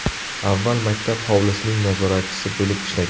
Avval maktab hovlisining nazoratchisi bo‘lib ishlagan.